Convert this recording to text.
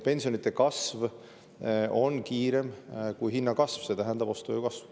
Pensionide kasv on kiirem kui hinnakasv, see tähendab ostujõu kasv.